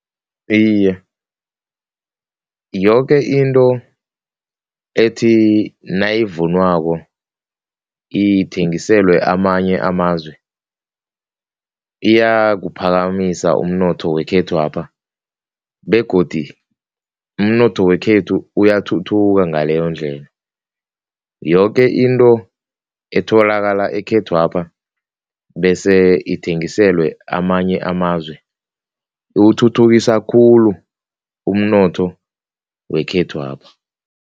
Iye, yoke into ethi nayivunwako ithengiselwe amanye amazwe iyawuphakamisa umnotho wekhethwapha begodi umnotho wekhethu uyathuthuka ngaleyondlela, yoke into etholakala ekhethwapha bese ithengiselwe amanye amazwe, iwuthuthukisa khulu umnotho wekhethwapha.